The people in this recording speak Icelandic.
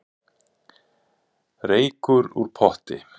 Reykur úr potti